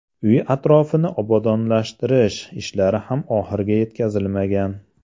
Uy atrofini obodonlashtirish ishlari ham oxiriga yetkazilmagan.